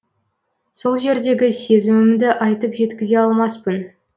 сол жердегі сезімімді айтып жеткізе алмаспын